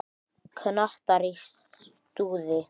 Kantar í stuði.